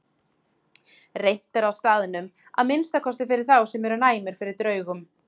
Reimt er á staðnum, að minnsta kosti fyrir þá sem eru næmir fyrir draugum.